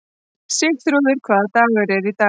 Sigþrúður, hvaða dagur er í dag?